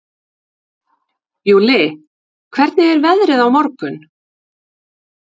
Júlli, hvernig er veðrið á morgun?